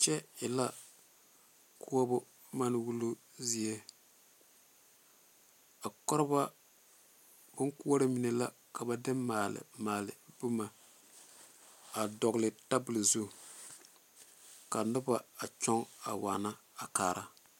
Kyɛ e la koɔbo manewuluu zie a koɔrebɔ bonkoɔre mine la ka ba de maale boma a dɔgle tabol zu ka noba a kyɔŋ a waana a kaara.